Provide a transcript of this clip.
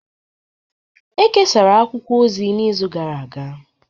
E kesara akwụkwọ ozi n'izu gara aga